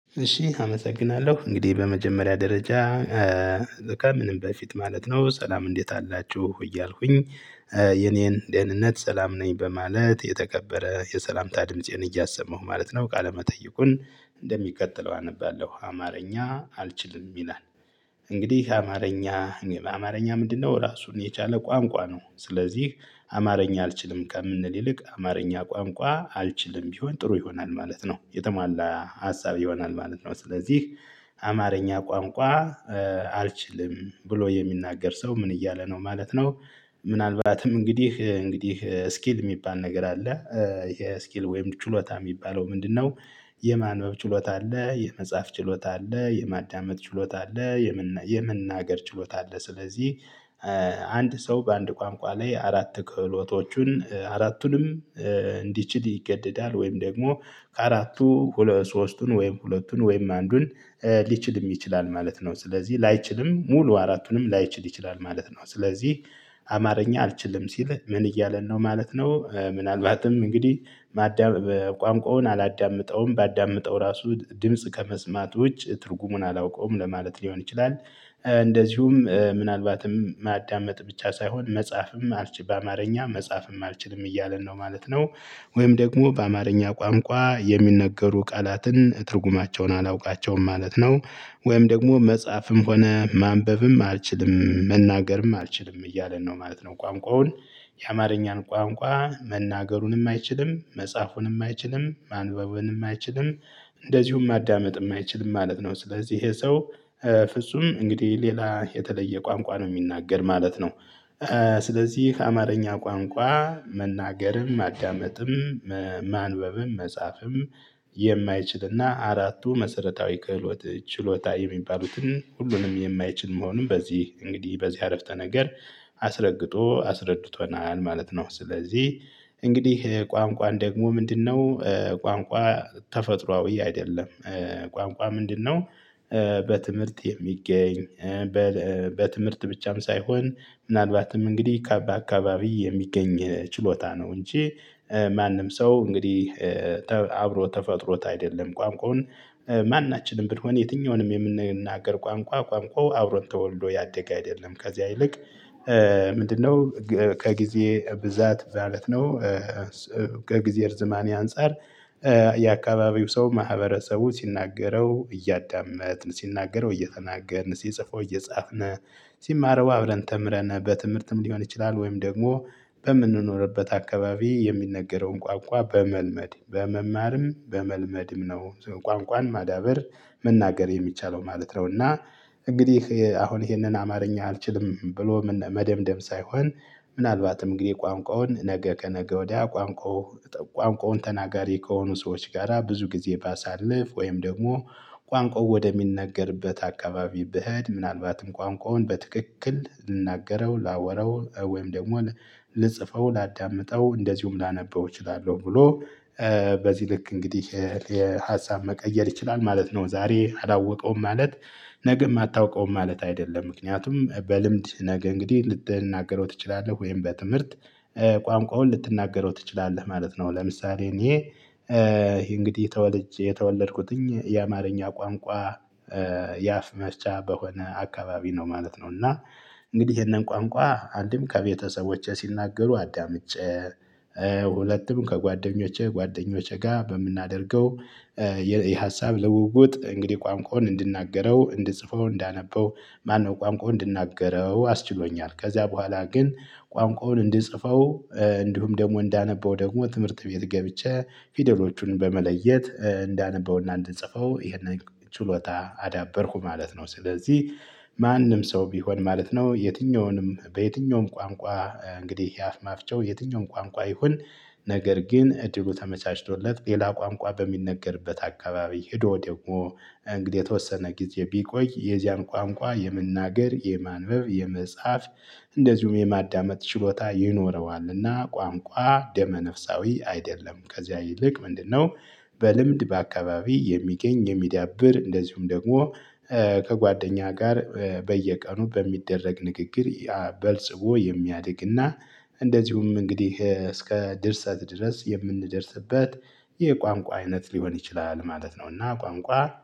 እሺ አመሰግናለሁ እንግዲህ በመጀመሪያ ደረጃ። ከምንም በፊት ማለት ነው ሰላም እንዴት አላችሁ እያልኩኝ። የኔን ደህንነት ሰላም ነኝ በማለት የተከበረ የሰላምታ ድምፄን እያሰማሁ ማለት ነው። ቃለመጠይቁን እንደሚከተለው አነባለሁ አማርኛ አልችልም ይላል። እንግዲህ አማርኛ እኔ አማርኛ ምንድነው ራሱን የቻለ ቋንቋ ነው። ስለዚህ አማርኛ አልችልም ከምንል ይልቅ አማርኛ ቋንቋ አልችልም ቢሆን ጥሩ ይሆናል ማለት ነው። የተሟላ ሀሳብ ይሆናል ማለት ነው። ስለዚህ አማርኛ ቋንቋ አልችልም ብሎ የሚናገር ሰው ምን እያለ ነው ማለት ነው። ምናልባትም እንግዲህ እንግዲህ ስኪል የሚባል ነገር አለ። ይሄ ስኪል ወይም ችሎታ የሚባለው ምንድነው? የማንበብ ችሎታ አለ የመጻፍ ችሎታ አለ የማዳመጥ ችሎታ አለ። የመናገር ችሎታ አለ ስለዚህ። አንድ ሰው በአንድ ቋንቋ ላይ አራት ክህሎቶቹን አራቱንም እንዲችል ይገደዳል። ወይም ደግሞ ከአራቱ ሁለት ሶስቱን ወይም ሁለቱን ወይም አንዱን ሊችልም ይችላል ማለት ነው። ስለዚህ ላይችልም ሙሉ አራቱንም ላይችል ይችላል ማለት ነው። ስለዚህ አማርኛ አልችልም ሲል ምን እያለ ነው ማለት ነው። ምናልባትም እንግዲህ ማዳመጥ ቋንቋውን አላዳምጠውም ባዳምጠው ራሱ ድምጽ ከመስማት ውጭ ትርጉሙን አላውቀውም ለማለት ሊሆን ይችላል። እንደዚሁም ምናልባትም ማዳመጥ ብቻ ሳይሆን መጻፍም አልችልም በአማርኛ መጻፍም አልችልም እያለን ነው ማለት ነው። ወይም ደግሞ በአማርኛ ቋንቋ የሚነገሩ ቃላትን ትርጉማቸውን አላውቃቸውም ማለት ነው። ወይም ደግሞ መጻፍም ሆነ ማንበብም አልችልም መናገርም አልችልም እያለን ነው ማለት ነው። ቋንቋውን የአማርኛን ቋንቋ መናገሩንም አይችልም መጻፉንም አይችልም ማንበቡንም አይችልም። እንደዚሁም ማዳመጥም አይችልም ማለት ነው ስለዚህ ይሄ ሰው ፍጹም እንግዲህ ሌላ የተለየ ቋንቋ ነው የሚናገር ማለት ነው። ስለዚህ አማርኛ ቋንቋ መናገርም ማዳመጥም ማንበብም መጻፍም የማይችልና አራቱ መሰረታዊ ክህሎት ችሎታ የሚባሉትን ሁሉንም የማይችል መሆኑን በዚህ እንግዲህ በዚህ አረፍተ ነገር አስረግጦ አስረድቶናል ማለት ነው። ስለዚህ እንግዲህ ቋንቋን ደግሞ ምንድነው? ቋንቋ ተፈጥሮአዊ አይደለም። ቋንቋ ምንድነው? በትምህርት የሚገኝ በትምህርት ብቻም ሳይሆን ምናልባትም እንግዲህ ካባ አካባቢ የሚገኝ ችሎታ ነው። እንጂ ማንም ሰው እንግዲህ አብሮ ተፈጥሮት አይደለም። ቋንቋውን ማናችንም ብንሆን የትኛውንም የምንናገር ቋንቋ ቋንቋው አብሮን ተወልዶ ያደገ አይደለም። ከዛ ይልቅ ምንድነው? ከጊዜ ብዛት ማለት ነው። ከጊዜ ርዝማኔ አንፃር የአካባቢው ሰው ማህበረሰቡ ሲናገረው እያዳመጥን ሲናገረው እየተናገርን ሲጽፈው እየጻፍን። ሲማረው አብረን ተምረን በትምህርትም ሊሆን ይችላል ወይም ደግሞ በምንኖርበት አካባቢ የሚነገረውን ቋንቋ በመልመድ በመማርም በመልመድም ነው። ቋንቋን ማዳበር መናገር የሚቻለው ማለት ነው። እና እንግዲህ አሁን ይሄንን አማርኛ አልችልም ብሎም መደምደም ሳይሆን። ምናልባትም እንግዲህ ቋንቋውን ነገ ከነገ ወዲያ ቋንቋው ቋንቋውን ተናጋሪ ከሆኑ ሰዎች ጋራ ጊዜ ባሳልፍ ወይም ደግሞ ቋንቋው ወደሚነገርበት አካባቢ ብሄድ ምናልባትም ቋንቋውን በትክክል ልናገረው ላወራው ወይም ደግሞ ልጽፈው ላዳምጠው እንደዚሁም ላነበው እችላለሁ ብሎ። በዚህ ልክ እንግዲህ የሀሳብ መቀየር ይችላል ማለት ነው። ዛሬ አላወቀውም ማለት ነገም አታውቀውም ማለት አይደለም። ምክንያቱም በልምድ ነገ እንግዲህ ልትናገረው ትችላለህ ወይም በትምህርት ቋንቋውን ልትናገረው ትችላለህ ማለት ነው። ለምሳሌ እኔ እንግዲህ ተወልጄ የተወለድኩትኝ የአማርኛ ቋንቋ የአፍ መፍቻ በሆነ አካባቢ ነው ማለት ነው። እና እንግዲህ ይሄንን ቋንቋ አንድም ከቤተሰቦቼ ሲናገሩ አዳምጬ ሁለቱም ከጓደኞቼ ጓደኞቼ ጋር በምናደርገው የሀሳብ ልውውጥ እንግዲህ ቋንቋውን እንድናገረው እንድጽፈው እንዳነበው ማነው ቋንቋውን እንድናገረው አስችሎኛል። ከዚያ በኋላ ግን ቋንቋውን እንድጽፈው እንዲሁም ደግሞ እንዳነበው ደግሞ ትምህርት ቤት ገብቼ ፊደሎቹን በመለየት እንዳነበውና እንድጽፈው ይሄንን ችሎታ አዳበርኩ ማለት ነው። ስለዚህ ማንም ሰው ቢሆን ማለት ነው የትኛውንም በየትኛውም ቋንቋ እንግዲህ የአፍ መፍቻው የትኛውም ቋንቋ ይሁን። ነገር ግን እድሉ ተመቻችቶለት ሌላ ቋንቋ በሚነገርበት አካባቢ ሄዶ ደግሞ እንግዲህ የተወሰነ ጊዜ ቢቆይ የዚያን ቋንቋ የመናገር የማንበብ የመጻፍ እንደዚሁም የማዳመጥ ችሎታ ይኖረዋልና ቋንቋ ደመ ነፍሳዊ አይደለም። ከዚያ ይልቅ ምንድነው? በልምድ በአካባቢ የሚገኝ የሚዳብር እንደዚሁም ደግሞ ከጓደኛ ጋር በየቀኑ በሚደረግ ንግግር። በልጽጎ የሚያድግና እንደዚሁም እንግዲህ እስከ ድርሰት ድረስ የምንደርስበት። የቋንቋ አይነት ሊሆን ይችላል ማለት ነውና። ቋንቋ